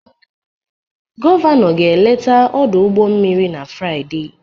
Gọvanọ ga-eleta ọdụ ụgbọ mmiri na Fraịde